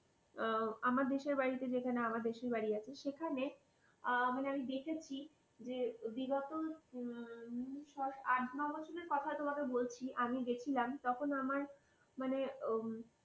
আমার দেশের বাড়িতে যেখানে আমার দেশের বাড়ি আছে সেখানে মানে আমি দেখেছি যে বিগত আট নয় বছরের কথা আমি তোমাকে বলছি আমি গিয়েছিলাম তখন আমার মানে